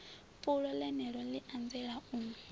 fulo ḽeneḽo ḽi anzela u